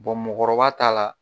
mɔgɔkɔrɔba ta la